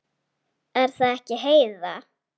Er það ekki, Heiða?